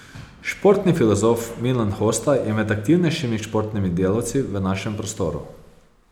Športni filozof Milan Hosta je med aktivnejšimi športnimi delavci v našem prostoru.